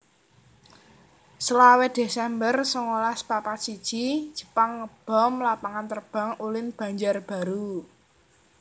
selawe desember songolas papat siji Jepang ngebom Lapangan Terbang Ulin Banjarbaru